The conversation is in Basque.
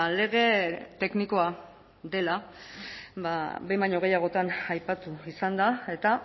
lege teknikoa dela behin baino gehiagotan aipatu izan da eta